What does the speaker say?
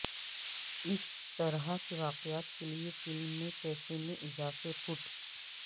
اس طرح کے واقعات کے لئے فلم میں کیفے میں اضافے فٹ